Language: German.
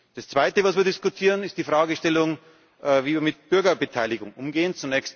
Das Zweite, was wir diskutieren, ist die Fragestellung, wie wir mit Bürgerbeteiligung umgehen.